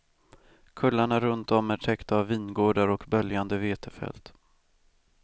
Kullarna runt om är täckta av vingårdar och böljande vetefält.